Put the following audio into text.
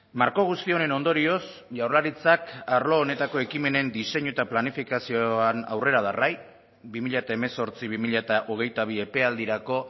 marko guzti honen ondorioz jaurlaritzak arlo honetako ekimenen diseinu eta planifikazioan aurrera darrai bi mila hemezortzi bi mila hogeita bi epealdirako